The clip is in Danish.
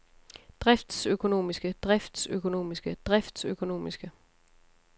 driftsøkonomiske driftsøkonomiske driftsøkonomiske